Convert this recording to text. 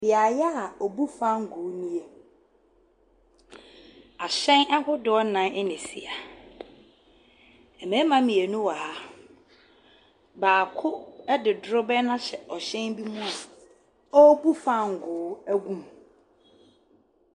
Beaeɛ a wɔbu fangoo nie, ahyɛn ahodoɔ nnan na ɛsi ha, mmarima mmienu wɔ ha, baako de dorobɛn no ahyɛ hyɛn bi mu a ɔrebu fangoo agu mu.